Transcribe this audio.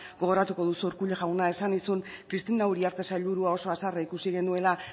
gogoratuko duzu urkullu jauna esan nizun cristina uriarte sailburua oso haserre ikusi genuela